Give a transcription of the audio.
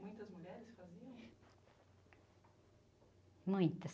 Muitas mulheres faziam? uitas.